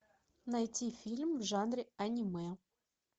найти фильм в жанре аниме